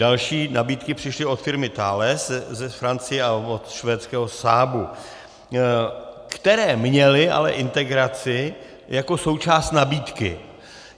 Další nabídky přišly od firmy Thales z Francie a od švédského Saabu, které měly ale integraci jako součást nabídky.